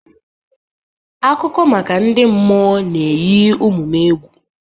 Akụkọ maka ndị mmụọ ga-eyi ụmụ m egwu.